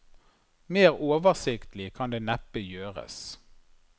Mer oversiktlig kan det neppe gjøres.